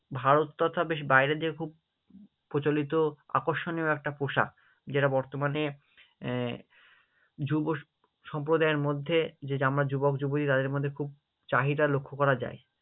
ভারত তথা বেশ বাইরের দিকে খুব প্রচলিত আকর্ষণীয় একটা পোশাক যেটা বর্তমানে আহ যুব সম্প্রদায়ের মধ্যে যে আমরা যুবক-যুবতী তাদের মধ্যে খুব চাহিদা লক্ষ্য করা যায়।